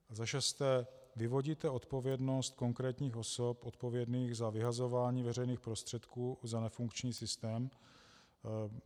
Za šesté, vyvodíte odpovědnost konkrétních osob odpovědných za vyhazování veřejných prostředků za nefunkční systém?